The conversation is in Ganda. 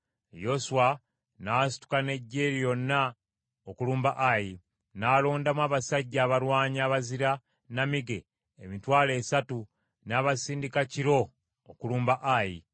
Yoswa n’asituka n’eggye lyonna okulumba Ayi, n’alondamu abasajja abalwanyi abazira nnamige emitwalo esatu n’abasindika kiro okulumba Ayi.